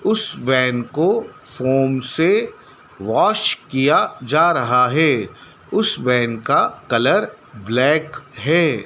उस वैन को फोम से वाश किया जा रहा है उस वैन का कलर ब्लैक है।